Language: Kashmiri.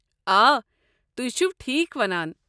آ، تُہۍ چھوٕ ٹھیٖک ونان۔